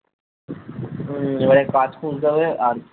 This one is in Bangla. হম যায় হোক কাজ খুঁজতে হবে আর